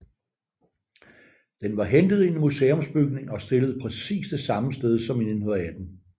Den var hentet i en museumsbygning og stillet på præcis det samme sted som i 1918